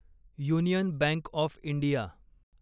union bank of India